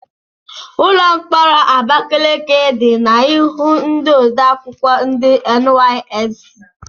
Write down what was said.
Ụlọ mkpọrọ Abakaliki dị n'ihu ndị odeakwụkwọ ndi NYSC.